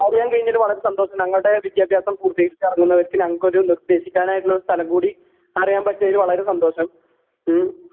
അറിയാൻ കഴിഞ്ഞതില് അറിയാൻ കഴിഞ്ഞതില് വളരെ സന്തോഷം ഞങ്ങൾടെ വിദ്യാഭ്യാസം പൂർത്തീകരിച്ച് എറങ്ങുന്നവർക്ക് ഞങ്ങൾക്കൊരു നിർദ്ദേശിക്കാനായിട്ടൊരു സ്ഥലം കൂടി അറിയാൻ പറ്റിയതില് വളരെ സന്തോഷം. ഉം?